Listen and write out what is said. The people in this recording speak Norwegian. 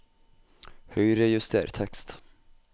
Høyrejuster tekst